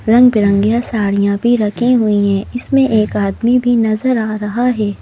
रंग बिरंगियाँ साड़ियाँ भी रखी हुई हैं इसमें एक आदमी भी नजर आ रहा है।